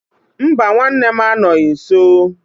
Mba, nwanne m anọghị nso.